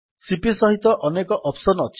CP ସହିତ ଅନେକ option ଅଛି